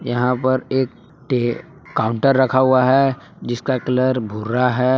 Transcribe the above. यहां पर एक टे काउंटर रखा हुआ है जिसका कलर भूरा है।